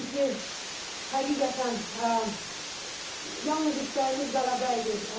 Çünki həqiqətən yalnız istəyimiz qələbə idi.